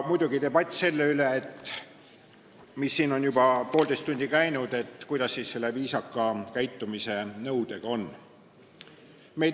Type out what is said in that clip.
Muidugi oli debatt selle üle – mis ka siin on juba poolteist tundi käinud –, kuidas siis selle viisaka käitumise nõudega on.